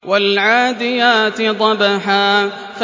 وَالْعَادِيَاتِ ضَبْحًا